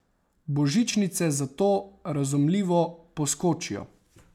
Božičnice zato, razumljivo, poskočijo.